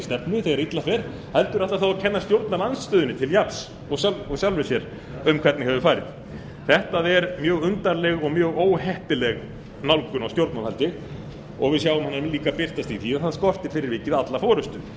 stefnu þegar illa fer heldur ætlar að kenna stjórnarandstöðunni til jafns og sjálfri sér um hvernig hefur farið þetta er mjög undarleg og mjög óheppileg nálgun á stjórnmálastarfi og við sjáum hana líka birtast í því að það skortir fyrir vikið alla forustu